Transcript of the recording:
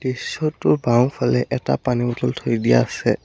দৃশ্যটোৰ বাওঁফালে এটা পানীৰ বটল থৈ দিয়া আছে।